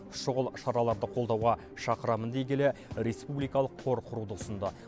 шұғыл шараларды қолдауға шақырамын дей келе республикалық қор құруды ұсынды